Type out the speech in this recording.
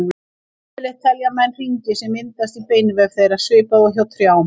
Yfirleitt telja menn hringi sem myndast í beinvef þeirra, svipað og hjá trjám.